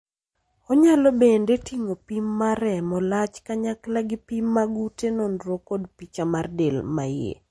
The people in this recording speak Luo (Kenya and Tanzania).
Onyalo bende ting'o pim mag remo, lach, kanyakla gi pim mag ute nonro kod picha mar del maiye.